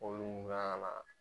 mun kan ka na.